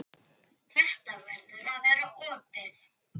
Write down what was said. Þetta verður að vera opið.